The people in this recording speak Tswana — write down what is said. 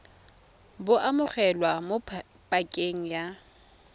bo amogelwa mo pakeng ya